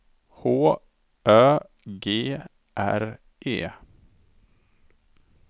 H Ö G R E